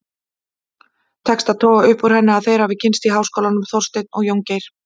Tekst að toga upp úr henni að þeir hafi kynnst í háskólanum, Þorsteinn og Jóngeir.